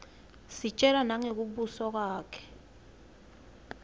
sitjelwa nangekubusa kwakhe